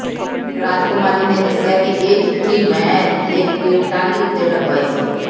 ਰਾਜਕੁਮਾਰੀ ਨੇ ਦੱਸਿਆ ਕਿ ਇਹ ਚਿੱਠੀ ਮੈਂ ਲਿਖ ਕੇ ਟਾਹਲੀ ਉਤੇ ਟੰਗਵਾਈ ਸੀ